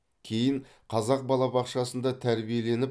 кейін қазақ балабақшасында тәрбиеленіп